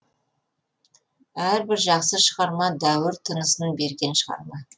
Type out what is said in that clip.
әрбір жақсы шығарма дәуір тынысын берген шығарма